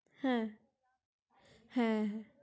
হ্যা হ্যা